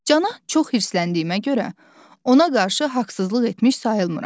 Cana çox hirsləndiyimə görə ona qarşı haqsızlıq etmiş sayılmıram.